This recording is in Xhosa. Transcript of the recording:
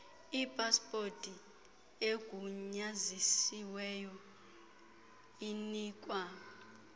ipaspoti egunyazisiweyo inikwa